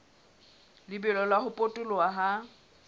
lebelo la ho potoloha ha